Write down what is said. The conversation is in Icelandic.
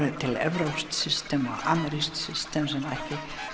til evrópskt system og amerískt system sem ekki